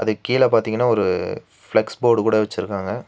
அதுக்கு கீழ பாத்தீங்கனா ஒரு ஃப்ளக்ஸ் போர்டு கூட வச்சுருக்காங்க.